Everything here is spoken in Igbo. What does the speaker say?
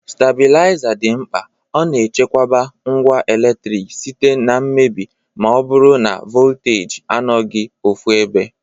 Stabilaiza dị mkpa,ọ na echekwoba ngwa eletrik site na mmebi ma ọ bụrụ na voltaji anọghị ofụebe.